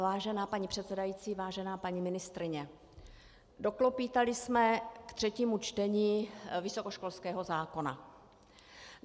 Vážená paní předsedající, vážená paní ministryně, doklopýtali jsme k třetímu čtení vysokoškolského zákona.